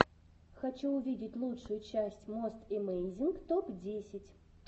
хочу увидеть лучшую часть мост эмейзинг топ десять